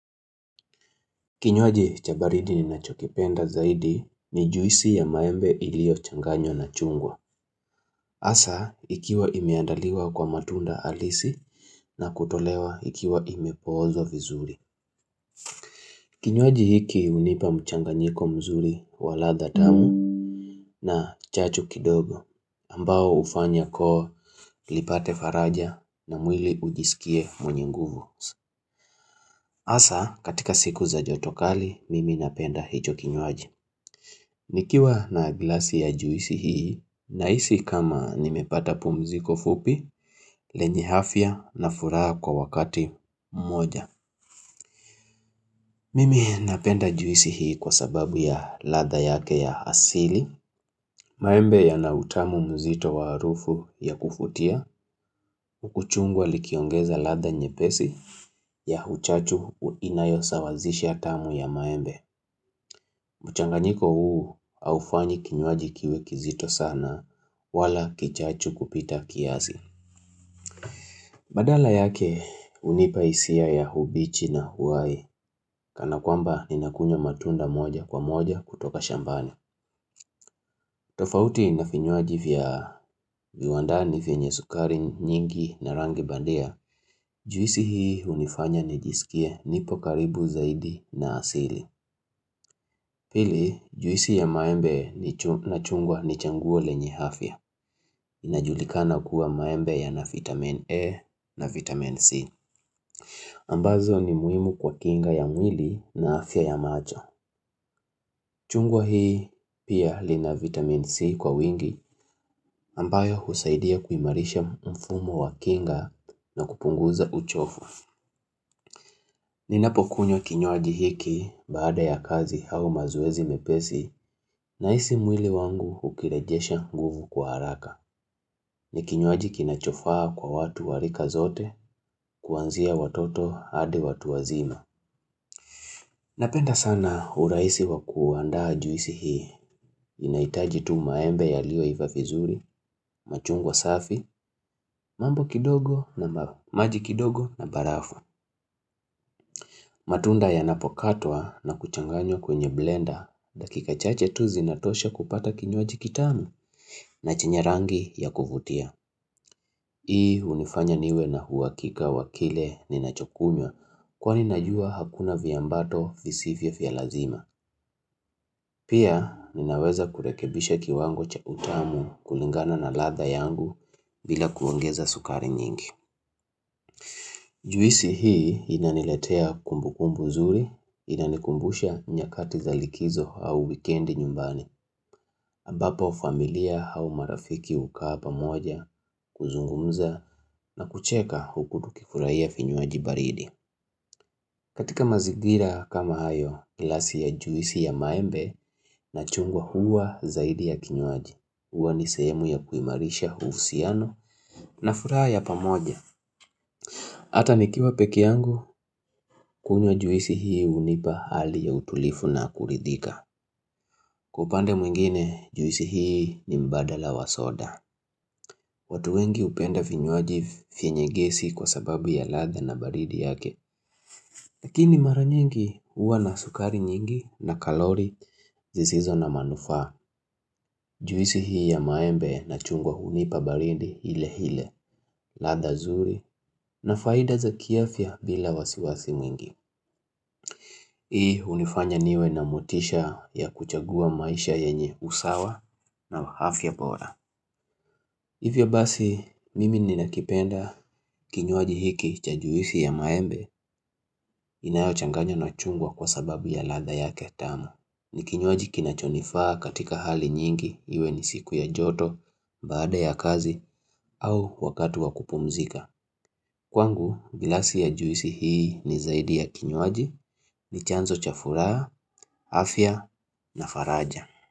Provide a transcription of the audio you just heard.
Kinywaji cha baridi ninachokipenda zaidi ni juisi ya maembe iliyochanganywa na chungwa. Hasa, ikiwa imeandaliwa kwa matunda halisi na kutolewa ikiwa imepoozwa vizuri. Kinywaji hiki hunipa mchanganyiko mzuri wa ladha tamu na chachu kidogo ambao ufanya koo nipate faraja na mwili ujisikie mwenye nguvu. Hasa, katika siku za joto kali, mimi napenda hicho kinywaji. Nikiwa na glasi ya juisi hii, nahisi kama nimepata pumziko fupi, lenye afya na furaha kwa wakati mmoja. Mimi napenda juisi hii kwa sababu ya ladha yake ya asili. Maembe yanautamu mzito wa arufu ya kuvutia, huku chungwa likiongeza ladha nyepesi ya uchachu inayosawazisha tamu ya maembe. Mchanganyiko huu haufanyi kinywaji kiwe kizito sana wala kichachu kupita kiazi. Badala yake hunipa hisia ya umbichi na uhai kana kwamba ninakunywa matunda moja kwa moja kutoka shambani tofauti na vinywaji vya viwandani vyenye sukari nyingi na rangi bandia, juisi hii unifanya nijisikie nipo karibu zaidi na asili. Pili, juisi ya maembe na chungwa ni changuo lenye afya. Inajulikana kuwa maembe ya na vitamin A na vitamin C. Ambazo ni muhimu kwa kinga ya mwili na afya ya macho. Chungwa hii pia lina vitamin C kwa wingi ambayo husaidia kuimarisha mfumo wa kinga na kupunguza uchofu. Ninapokunywa kinywaji hiki baada ya kazi au mazeozi mepesi nahisi mwili wangu ukirejesha guvu kwa haraka. Ni kinywaji kinachofaa kwa watu wa rika zote kuanzia watoto hadi watu wazima. Napenda sana uraisi wa kuandaa juisi hii. Inahitaji tu maembe yaliyoiva vizuri, machungwa safi, mambo kidogo na maji kidogo na barafu matunda yanapokatwa na kuchanganywa kwenye blenda dakika chache tu zinatosha kupata kinywaji kitamu na chenye rangi ya kuvutia. Hii unifanya niwe na uhakika wa kile ninachokunywa kwani najua hakuna viambato visivyo vya lazima. Pia ninaweza kurekebisha kiwango cha utamu kulingana na ladha yangu bila kuongeza sukari nyingi. Juisi hii inaniletea kumbukumbu nzuri, inanikumbusha nyakati za likizo au wikendi nyumbani, ambapo familia au marafiki ukaa pamoja, kuzungumza na kucheka huku tukifurahia vinywaji baridi. Katika mazigira kama hayo glasi ya juisi ya maembe na chungwa huwa zaidi ya kinywaji, huwa ni sehemu ya kuimarisha uhusiano na furaha ya pamoja. Hata nikiwa peke yangu kunywa juisi hii unipa hali ya utulivu na kuridhika. Kwa upande mwingine juisi hii ni mbadala wa soda. Watu wengi upenda vinywaji vyenye gesi kwa sababu ya ladha na baridi yake. Lakini maranyingi huwa na sukari nyingi na kalori zisizo na manufaa Juisi hii ya maembe na chungwa unipa baridi ile ile ladha nzuri na faida za kiafya bila wasiwasi mwingi. Hii unifanya niwe na motisha ya kuchagua maisha yenye usawa na afya bora. Hivyo basi mimi ninakipenda kinywaji hiki cha juisi ya maembe inayo changanywa na chungwa kwa sababu ya ladha yake tamu ni kinywaji kinachonifaa katika hali nyingi hiwe ni siku ya joto, baada ya kazi au wakati wa kupumzika. Kwangu, glasi ya juisi hii ni zaidi ya kinywaji, ni chanzo cha furaha, afya na faraja.